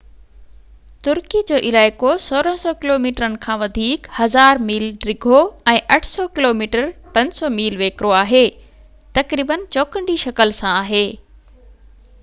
ترڪي جو علائقو 1,600 ڪلوميٽرن کان وڌيڪ 1،000 ميل ڊگهو ۽ 800 ڪلوميٽر 500 ميل ويڪرو آهي، تقريبن چوڪنڊي شڪل سان آهي